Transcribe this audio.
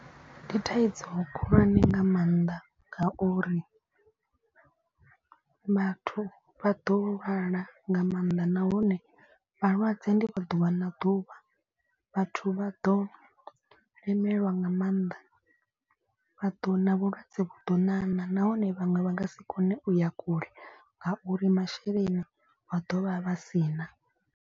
Ndi thaidzo khulwane nga maanḓa ngauri vhathu vha ḓo lwala nga maanḓa. Nahone vhalwadze ndi vha ḓuvha na ḓuvha vhathu vha ḓo lemelwa nga maanḓa. Vha ḓo na vhulwadze vhu ḓo ṋaṋa nahone vhaṅwe vha nga si kone u ya kule ngauri masheleni vha dovha vha si na.